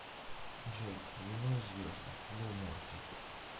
джой вино и звезды лил морти